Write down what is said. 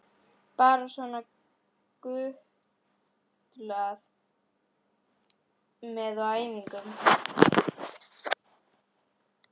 Bara svona gutlað með á æfingum.